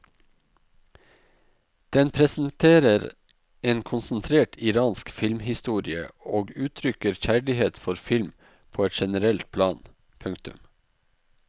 Den presenterer en konsentrert iransk filmhistorie og uttrykker kjærlighet for film på et generelt plan. punktum